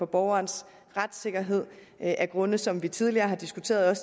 borgerens retssikkerhed af grunde som vi tidligere har diskuteret